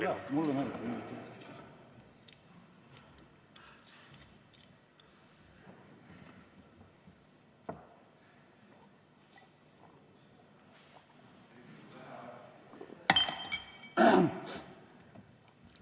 Jaa, mulle meeldib!